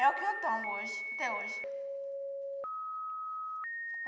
É o que eu tomo hoje, até hoje.